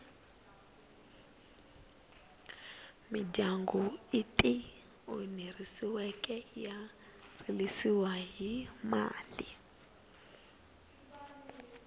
midyangu ityi onheriweke ya rilisiwa hi mali